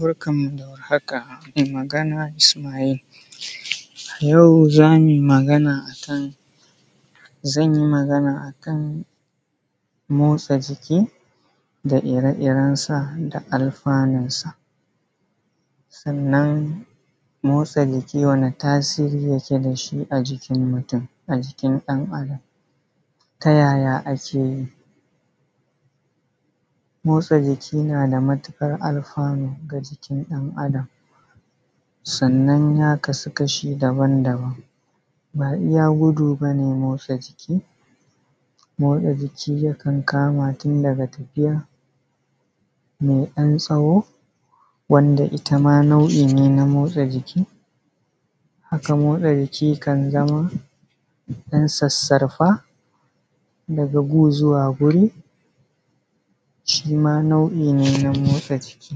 Barkanmu da war haka, mai magana Isma’il, yau zamu yi magana a kan, zanyi magana a kan motsa jiki da ire-irensa da alfanunsa, sannan motsa jiki wani tasiri yike dashi a jikin mutum? A jikin ɗan Adam? Tayaya ake yi? Motsa jiki na da mutuƙar alfanu ga jikin ɗan Adam, sannan ya kasu kashi daban-daban na iya gudu bane motsa jiki, motsa jiki ya kan kama tun daga tafiya me ɗan tsawo, wanda itama nau’i ne na motsa jiki, haka motsa jiki kan zamo ɗan sarsarfa daga gu zuwa guri, shima nau’i ne na motsa jiki.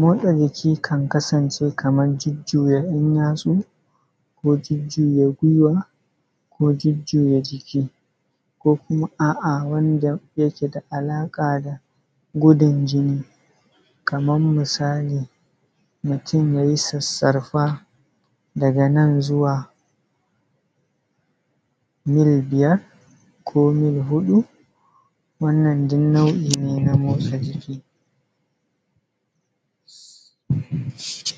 Motsa jiki kan kasance kaman jujuya ‘yan yatsu ko jujuya gwiwa ko jujuya jiki, ko kuma a’a wanda yake da alaƙa da gudun jini, kaman misali mutum ya yi sarsarfa, daga nan zuwa mil biyar ko mil huƙu wannan duk nau’i ne na motsa jiki. Sai.